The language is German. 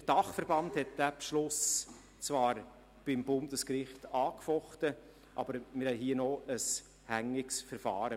Der DBT hat diesen Beschluss zwar beim Bundesgericht angefochten, aber wir haben hier noch ein hängiges Verfahren.